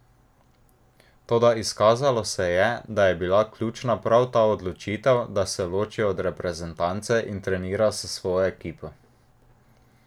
Toda izkazalo se je, da je bila ključna prav ta odločitev, da se loči od reprezentance in trenira s svojo ekipo.